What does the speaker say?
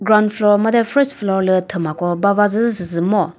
ground floor made first floor lü thüma ko bavazü sü sü ngo.